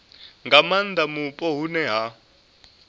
nga maanda mupo hune ha